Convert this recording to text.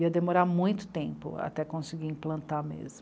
Ia demorar muito tempo até conseguir implantar mesmo.